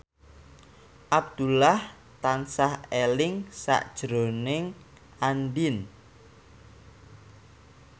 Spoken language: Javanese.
Abdullah tansah eling sakjroning Andien